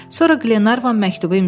Sonra Glenarvan məktubu imzaladı.